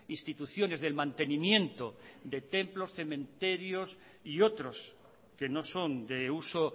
instituciones del mantenimiento de templos cementerios y otros que no son de uso